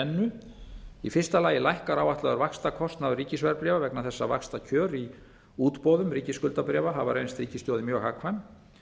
þrennu í fyrsta lagi lækkar áætlaður vaxtakostnaður ríkisverðbréfa vegna þess að vaxtakjör í útboðum ríkisskuldabréfa hafa reynst ríkissjóði mjög hagkvæm